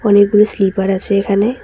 অনেকগুলো স্লিপার আছে এখানে।